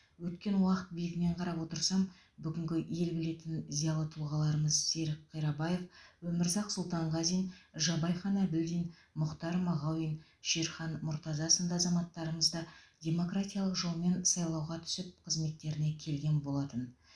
өткен уақыт биігінен қарап отырсам бүгінгі ел білетін зиялы тұлғаларымыз серік қирабаев өмірзақ сұлтанғазин жабайхан әбілдин мұхтар мағауин шерхан мұртаза сынды азаматтарымыз да демократиялық жолмен сайлауға түсіп қызметтеріне келген болатын